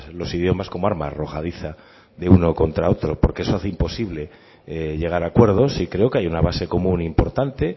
los idiomas como arma arrojadiza de uno contra otro porque eso hace imposible llegar a acuerdos y creo que hay una base común importante